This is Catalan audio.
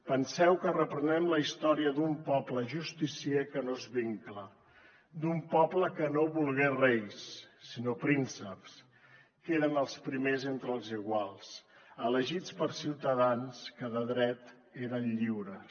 penseu que reprenem la història d’un poble justicier que no és vincla d’un poble que no volgué reis sinó prínceps que eren els primers entre els iguals elegits per ciutadans que de dret eren lliures